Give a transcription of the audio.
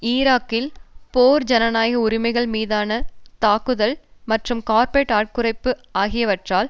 ஈராக்கில் போர் ஜனநாயக உரிமைகள் மீதான தாக்குதல் மற்றும் கார்ப்பொரேட் ஆட்குறைப்பு ஆகியவற்றால்